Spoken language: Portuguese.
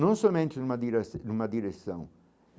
Não somente numa dire numa direção.